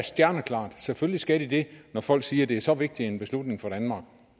stjerneklar selvfølgelig skal de det når folk siger at det er så vigtig en beslutning for danmark